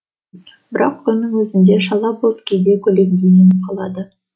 бірақ күннің өзін де шала бұлт кейде көлегейленіп қалады